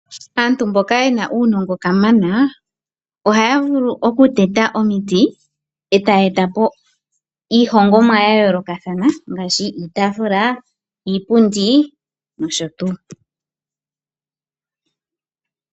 Aantu mboka yena uunongo kamana ohaya vulu okuteta omiti etaya etapo iihongomwa yayoolokathana ngaashi iitaafula, iipundi nosho tuu.